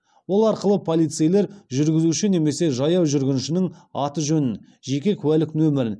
ол арқылы полицейлер жүргізуші немесе жаяу жүргіншінің аты жөнін жеке куәлік нөмірін